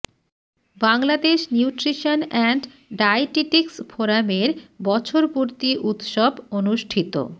Bangladesh nutrition and dietetics ফোরামের বছর পূর্তি উৎসব অনুষ্ঠিত